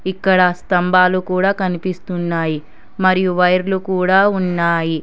ఇక్కడ స్తంభాలు కూడా కనిపిస్తున్నాయి మరియు వైర్లు కూడా ఉన్నాయి.